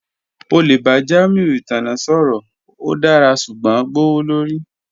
O le ba Jamiu itanna sọrọ, o dara ṣugbọn gbowolori